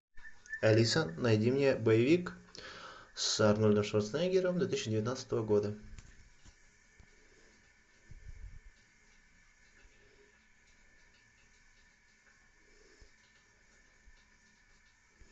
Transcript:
алиса найди мне боевик с арнольдом шварценеггером две тысячи девятнадцатого года